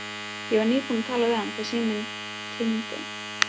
Ég var nýbúin að tala við hann þegar síminn hringdi.